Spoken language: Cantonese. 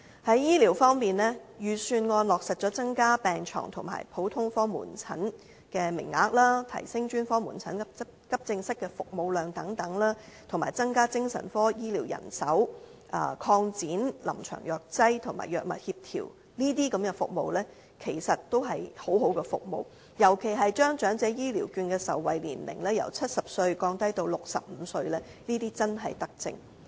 在醫療方面，預算案落實增加病床和普通科門診的名額，提升專科門診和急症室的服務量等，以及增加精神科醫療人手，擴展臨床藥劑和藥物協調等，這些均是一些十分好的服務，尤其是將長者醫療券的受惠年齡由70歲降低至65歲，這些真正是德政。